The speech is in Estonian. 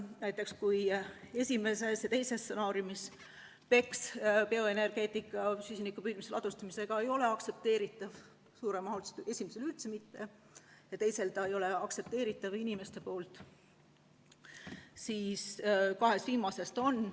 Näiteks kui esimeses ja teises stsenaariumis BECCS ehk bioenergeetika koos süsiniku püüdmise ja ladustamisega ei ole aktsepteeritav – esimeses üldse mitte ja teises ta ei ole aktsepteeritav inimeste poolt –, siis kahes viimases on.